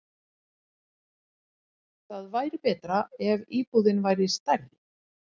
Það væri betra ef íbúðin væri stærri.